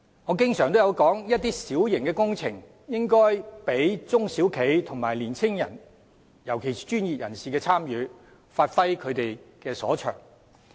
我經常也說，一些小型工程應讓中小型企業和年青的專業人士參與，讓他們發揮所長。